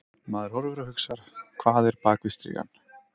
Maður horfir og hugsar: Hvað er bak við strigann?